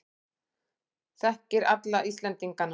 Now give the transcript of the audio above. Þekkir alla Íslendingana.